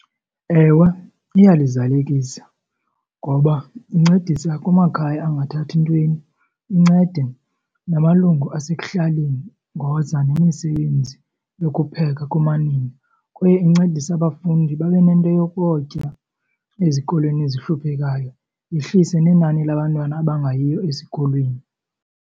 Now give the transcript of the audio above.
Ewem iyalizalekisa ngoba nicedisa kumakhaya angathathi ntweni, incede namalungu asekuhlaleni ngoza nemisebenzi yokupheka kumanina. Kwaye incedisa abafundi babe nento yokutya ezikolweni ezihluphekayo yehlise nenani labantwana abangayiyo esikolweni.